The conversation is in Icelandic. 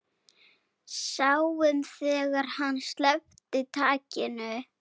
Sáum þegar hann sleppti takinu.